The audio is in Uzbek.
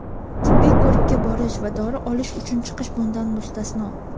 Tibbiy ko‘rikka borish va dori olish uchun chiqish bundan mustasno.